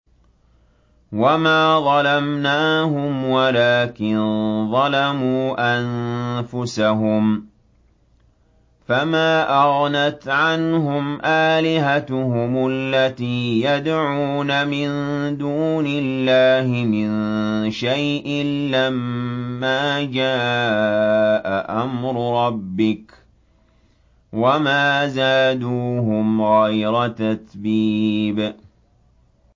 وَمَا ظَلَمْنَاهُمْ وَلَٰكِن ظَلَمُوا أَنفُسَهُمْ ۖ فَمَا أَغْنَتْ عَنْهُمْ آلِهَتُهُمُ الَّتِي يَدْعُونَ مِن دُونِ اللَّهِ مِن شَيْءٍ لَّمَّا جَاءَ أَمْرُ رَبِّكَ ۖ وَمَا زَادُوهُمْ غَيْرَ تَتْبِيبٍ